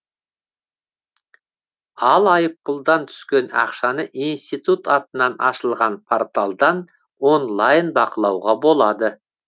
ал айыппұлдан түскен ақшаны институт атынан ашылған порталдан онлайн бақылауға болады